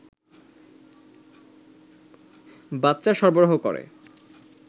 বাচ্চা সরবরাহ করে